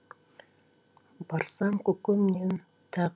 барсам көкөмнен тақ